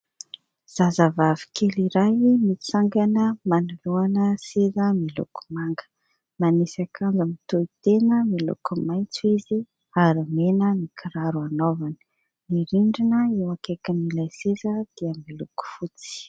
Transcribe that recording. Zazavavy kely iray mitsangana manoloana seza miloko manga, manisy akanjo mitohitena miloko maitso izy ary mena ny kiraro anaovany. Ny rindrina eo akaikin'ilay seza dia miloko fotsy.